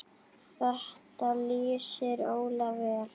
Þetta lýsir Óla vel.